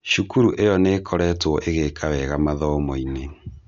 Cukuru ĩyo nĩkoretwo ĩgĩka wega mathomo-inĩ